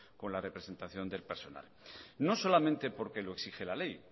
con la representación del personal no solamente porque lo exige la ley